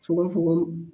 Fokogon